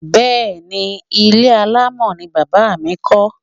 Ehn, ilé alámọ̀ ni Bàbá mi kọ́.